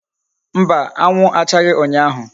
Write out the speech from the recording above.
Mba, anwu achaghi unyahu